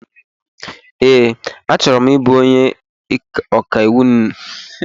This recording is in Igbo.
Ee, achọrọ m ịbụ onye ọkàiwụ n'ọdịnihu